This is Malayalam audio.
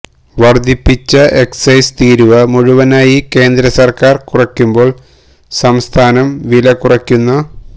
വര്ധിപ്പിച്ച എക്സൈസ് തീരുവ മുഴുവനായി കേന്ദ്ര സര്ക്കാര് കുറക്കുമ്പോള് സംസ്ഥാനം വില കുറയ്ക്കുന്ന